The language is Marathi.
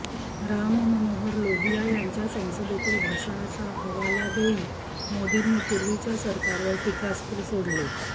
राममनोहर लोहिया यांच्या संसदेतील भाषणाचा हवाला देऊन मोदींनी पूर्वीच्या सरकारवर टीकास्त्र सोडले